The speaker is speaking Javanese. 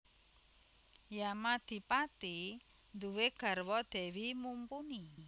Yamadipati nduwé garwa Dewi Mumpuni